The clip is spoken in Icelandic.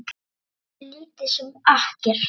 Aðgengi er lítið sem ekkert.